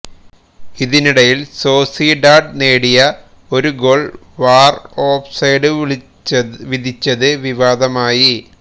ഇതിനിടയില് Sociedad നേടിയ ഒരു goal VAR offside വിധിച്ചത് വിവാദമായി